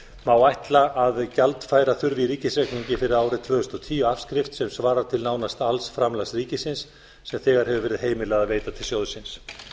ætla að gjaldfæra þurfi í ríkisreikningi fyrir árið tvö þúsund og tíu afskrift sem svarar til nánast alls framlags ríkisins sem þegar hefur verið heimilað að veita til sjóðsins